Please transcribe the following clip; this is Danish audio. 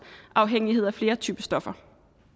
afhængighed af flere typer stoffer